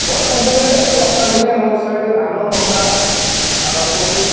ବର୍ଷା ଦିନେ ବର୍ଷା ଦିନେ ଆମ ସବୁ ଧାନ ମକା ଆଉ କୋବି